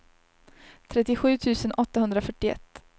trettiosju tusen åttahundrafyrtioett